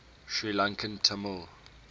sri lankan tamil